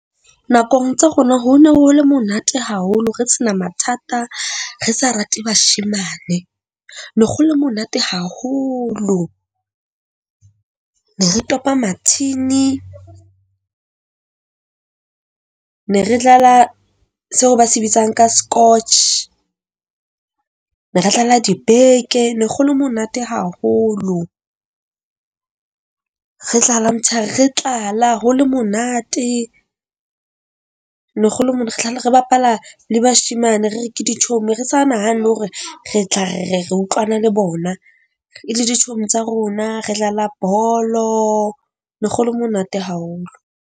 Nakong tsa rona ho ne ho le monate haholo re sena mathata, re sa rate bashemane. no go le monate haholo. Ne re topa mathini, ne re dlala seo ba se bitsang ka scotch. Ne re dlala dibeke ne go lo monate haholo. Re dlala motsheare, re tlala ho le monate, mona re bapala le bashemane. Re re ke dichomi, re sa nahane le hore re tla re re re utlwana le bona, e le dichomi tsa rona, re dlala bolo. Ne go le monate haholo.